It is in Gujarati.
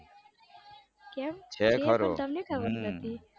કેમ છે પણ તમને ખબર નથી.